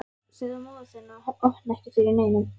Segðu móður þinni að opna ekki fyrir neinum.